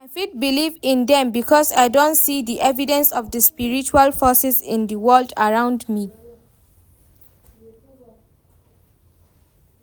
I fit believe in dem because i don see di evidence of di spiritual forces in di world around me.